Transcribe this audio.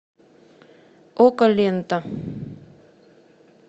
окко лента